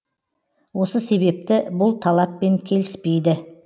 осы себепті бұл талаппен келіспейді